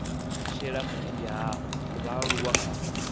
shela mulenzhe ha vhaaluwa kha